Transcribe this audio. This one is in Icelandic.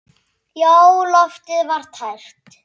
Já, loftið var tært.